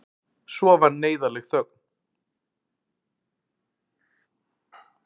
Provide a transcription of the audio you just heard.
Svo varð neyðarleg þögn.